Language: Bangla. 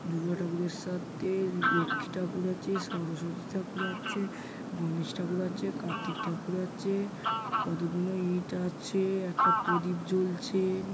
দূর্গা ঠাকুরের সাথে লক্ষ্মী ঠাকুর আছে | সরস্বতী ঠাকুর আছে গনেশ ঠাকুর আছে কার্তিক ঠাকুর আছে| কতগুলো আছে | একটা প্রদীপ জ্বলছে।